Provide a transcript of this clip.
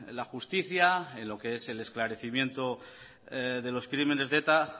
la justicia en lo que es el esclarecimiento de los crímenes de eta